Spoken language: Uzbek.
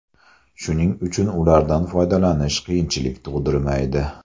Shuning uchun ulardan foydalanish qiyinchilik tug‘dirmaydi.